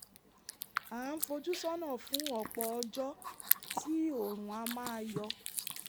a ń fojú sọ́nà fún ọ̀pọ̀ ọjọ́ tí oòrùn á máa yọ